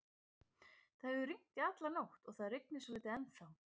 Það hefur rignt í alla nótt og það rignir svolítið ennþá.